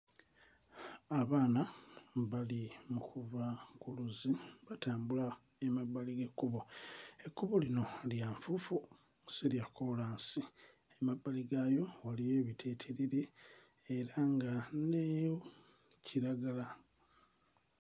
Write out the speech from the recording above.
Abaana mbali mu kuva ku luzzi batambula emabbali g'ekkubo ekkubo lino lya nfuufu si lya kkoolaasi mmabbali gaalyo waliyo ebitittiriri era nga ne kiragala.